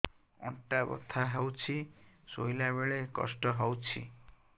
ଅଣ୍ଟା ବଥା ହଉଛି ଶୋଇଲା ବେଳେ କଷ୍ଟ ହଉଛି